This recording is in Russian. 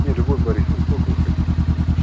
не любовь борисова сколько вы хотите денег